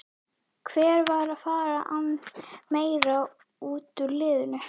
Hver er að fara að ná meira út úr liðinu?